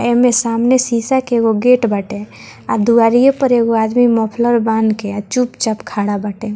एमए सामने में शीशा के एगो गेट बाटे और दुआरिये पे एगो आदमी मोफलर बांध के आ चुपचाप खड़ा बाटे।